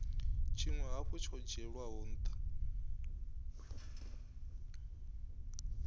tshinwe hafhu tsho dzhielwaho ntha